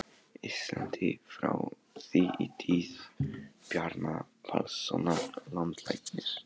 Íslandi, frá því í tíð Bjarna Pálssonar landlæknis.